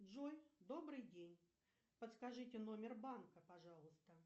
джой добрый день подскажите номер банка пожалуйста